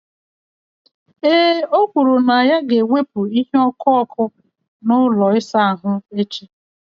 Ee, o kwuru na ya ga-ewepụ ihe ọkụ ọkụ na ụlọ ịsa ahụ echi.